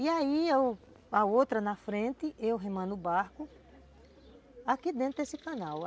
E aí, a outra na frente, eu remando o barco, aqui dentro desse canal.